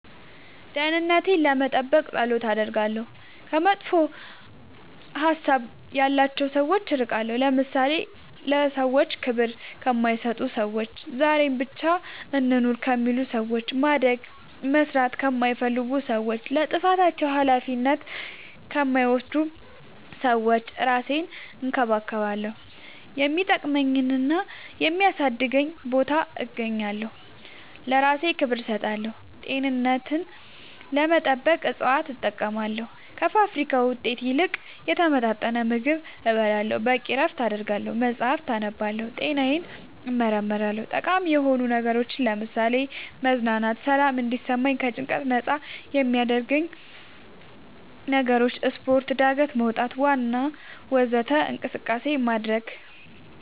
ደህንነቴን ለመጠበቅ ፀሎት አደርጋለሁ ከመጥፎ ሀሳብ ያላቸው ሰዎች እርቃለሁ ለምሳሌ ለሰዎች ክብር ከማይሰጡ ሰዎች ዛሬን ብቻ እንኑር ከሚሉ ሰዎች ማደግ መስራት ከማይፈልጉ ሰዎች ለጥፋታቸው አላፊነት ከማይወስዱ ሰዎች እራሴን እንከባከባለሁ የሚጠቅመኝና የሚያሳድገኝ ቦታ እገኛለሁ ለእራሴ ክብር እሰጣለሁ ጤንነቴን ለመጠበቅ እፅዋት እጠቀማለሁ ከፋብሪካ ውጤት ይልቅ የተመጣጠነ ምግብ እበላለሁ በቂ እረፍት አደርጋለሁ መፅአፍ አነባለሁ ጤናዬን እመረመራለሁ ጠቃሚ የሆኑ ነገሮች ለምሳሌ መዝናናት ሰላም እንዲሰማኝ ከጭንቀት ነፃ የሚያረጉኝ ነገሮች ስፓርት ጋደት መውጣት ዋና ወዘተ እንቅስቃሴ ማድረግ